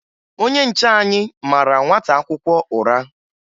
Onye nche anyị mara nwata akwụkwọ ụra